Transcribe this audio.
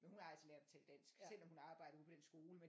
Men hun har altså lært at tale dansk selvom hun arbejder ude på den skole men